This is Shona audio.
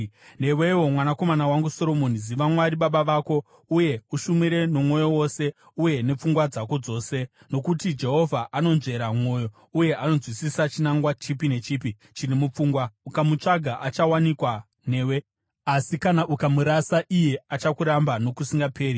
“Newewo mwanakomana wangu Soromoni, ziva Mwari wababa vako, uye umushumire nomwoyo wose uye nepfungwa dzako dzose, nokuti Jehovha anonzvera mwoyo uye anonzwisisa chinangwa chipi nechipi chiri mupfungwa. Ukamutsvaga achawanikwa newe, asi kana ukamurasa, iye achakuramba nokusingaperi.